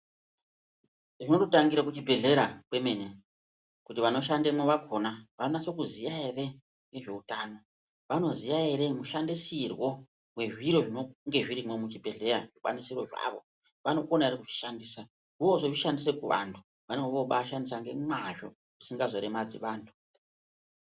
Zvinototangira kuchibhedhera kwemene, kuti vanoshandemwo vakhona vanonase kuziya ere ngezveutano, vanoziya ere mushandisirwe wezviro zvinonge zvirimwo muchibhedhleya zvikwanisiro zvavo, vanokona ere kuzvishandisa. Voozozvishandisa kuvantu vanenge vozvishandisa ngemwazvo zvisingazoremadzi vanthu.